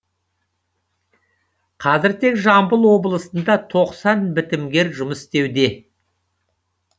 қазір тек жамбыл облысында тоқсан бітімгер жұмыс істеуде